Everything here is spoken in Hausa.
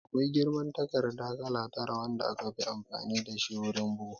Akwai girman takarda kala tara wanda aka fi amfani dashi wurin bugu